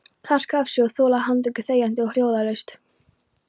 Harka af sér og þola handtöku þegjandi og hljóðalaust?